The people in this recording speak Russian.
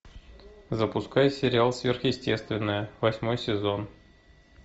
запускай сериал сверхъестественное восьмой сезон